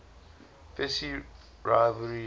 fierce rivalry led